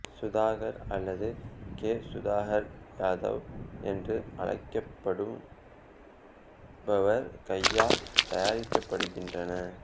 சுதாகர் அல்லது கே சுதாகர் யாதவ் என்று அழைக்கப்படுபவர் கையால் தயாரிக்கப்படுகின்றன